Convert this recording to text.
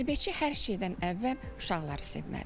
Tərbiyəçi hər şeydən əvvəl uşaqları sevməlidir.